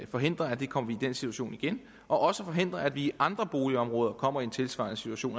forhindre at vi kommer i den situation igen og også forhindre at vi i andre boligområder kommer i en tilsvarende situation